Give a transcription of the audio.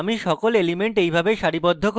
আমি সকল elements এইভাবে সারিবদ্ধ করেছি: